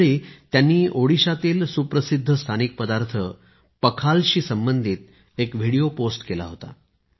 त्यावेळी त्यांनी ओडिशातीळ सुप्रसिद्ध स्थानिक पदार्थ पखाल शी संबंधित एक व्हिडिओ पोस्ट केला होता